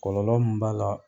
Kɔlɔlɔ mun b'a la.